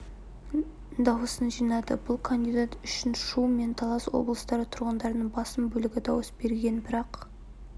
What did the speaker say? дауысын жинады бұл кандидат үшін шу мен талас облыстары тұрғындарының басым бөлігі дауыс берген бірақ